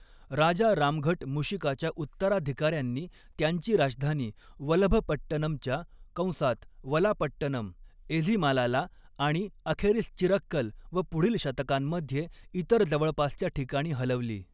राजा रामघट मूशिकाच्या उत्तराधिकार्यांनी त्यांची राजधानी वलभपट्टनमच्या कंसात वलापट्टनम एझिमालाला आणि अखेरीस चिरक्कल व पुढील शतकांमध्ये इतर जवळपासच्या ठिकाणी हलवली.